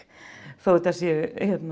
þó þetta séu